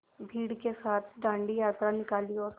भीड़ के साथ डांडी यात्रा निकाली और